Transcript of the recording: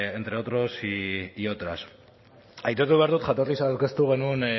entre otros y otras aitortu behar dut jatorriz aurkeztu genuen